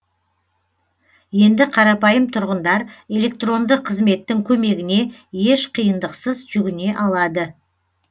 енді қарапайым тұрғындар электронды қызметтің көмегіне еш қиындықсыз жүгіне алады